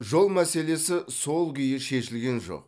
жол мәселесі сол күйі шешілген жоқ